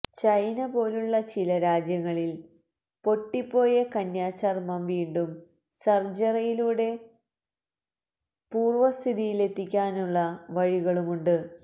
China പോലുള്ള ചില രാജ്യങ്ങളില് പൊട്ടിപ്പോയ കന്യാ ചര്മം വീണ്ടും സര്ജറിയിലൂടെ പൂര്വ സ്ഥിതിയിലെത്തിയ്ക്കാനുള്ള വഴികളുമുണ്ട്